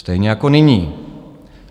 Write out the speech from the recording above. Stejně jako nyní.